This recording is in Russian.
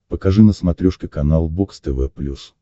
покажи на смотрешке канал бокс тв плюс